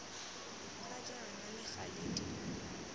ga jaana le gale di